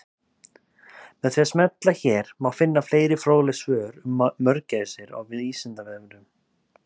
Með því að smella hér má finna fleiri fróðleg svör um mörgæsir á Vísindavefnum.